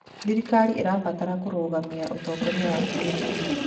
Thirikari ĩrabatara kũrũgamia ũtongoria wa kĩrĩu.